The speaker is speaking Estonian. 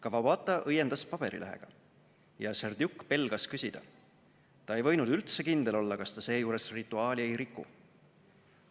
Kawabata õiendas paberilehega ja Serdjuk pelgas küsida – ta ei võinud üldse kindel olla, kas ta seejuures rituaali ei riku.